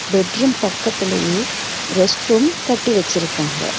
Bedroom பக்கத்துலயே restroom கட்டி வெச்சுருக்காங்க.